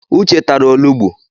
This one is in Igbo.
Uche tara olugbu.